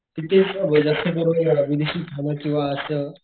तिथेच जास्त करून विदेशी खान किंवा असं,